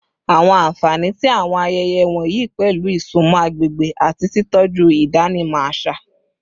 Awọn anfani ti awọn ayẹyẹ wọnyi pẹlu isunmọ agbegbe ati titọju idanimọ aṣa